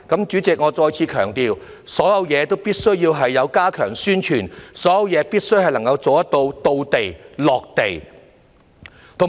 主席，我再次強調，所有事情都必須加強宣傳，所有事情都必須能夠做到"到地"、"落地"。